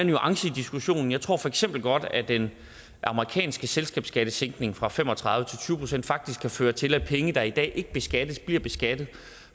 nuancer i diskussionen jeg tror for eksempel godt at den amerikanske selskabsskattesænkning fra fem og tredive til tyve procent faktisk kan føre til at penge der i dag ikke beskattes bliver beskattet